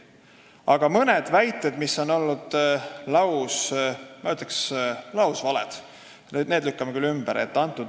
Aga mõned väited, mis on olnud, ma ütleksin, lausvaled, lükkan küll ümber.